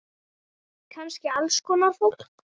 Kannski alls konar fólk.